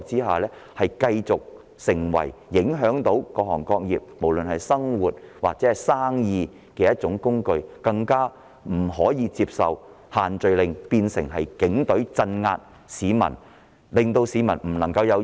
限聚令只會成為影響各行各業、市民生活或營商的措施，而我們更不能接受限聚令變成警隊鎮壓市民，令市民不能自由表達意見的工具。